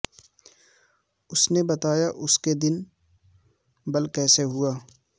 اس نے بتایا کہ اس دن بل کیسے ہوا